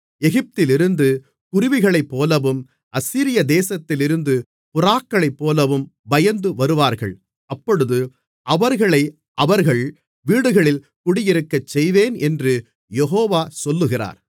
எகிப்திலிருந்து குருவிகளைப்போலவும் அசீரியா தேசத்திலிருந்து புறாக்களைப்போலவும் பயந்து வருவார்கள் அப்பொழுது அவர்களை அவர்கள் வீடுகளில் குடியிருக்கச்செய்வேன் என்று யெகோவா சொல்லுகிறார்